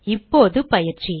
இப்போது பயிற்சி